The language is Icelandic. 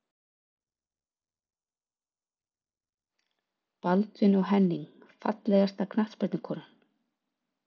Baldvin og Henning Fallegasta knattspyrnukonan?